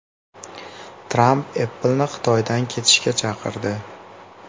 Tramp Apple’ni Xitoydan ketishga chaqirdi.